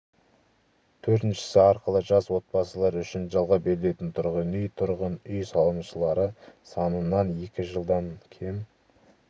төртіншісі арқылы жас отбасылар үшін жалға берілетін тұрғын үй тұрғын үй салымшылары санынан екі жылдан кем